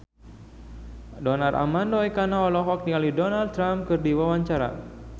Donar Armando Ekana olohok ningali Donald Trump keur diwawancara